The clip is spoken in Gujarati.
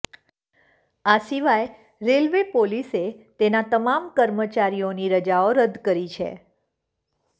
આ સિવાય રેલવે પોલીસ તેના તમામ કર્મચારીઓની રજાઓ રદ કરી છે